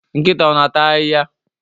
Nkịta ọ na-ata ahịhịa?